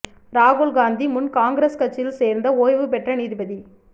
ராகுல் காந்தி முன் காங்கிரஸ் கட்சியில் சேர்ந்த ஓய்வு பெற்ற நீதிபதி